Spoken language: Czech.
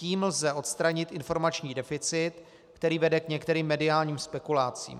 Tím lze odstranit informační deficit, který vede k některým mediálním spekulacím.